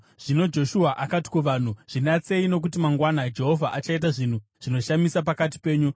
Zvino Joshua akati kuvanhu, “Zvinatsei, nokuti mangwana Jehovha achaita zvinhu zvinoshamisa pakati penyu.”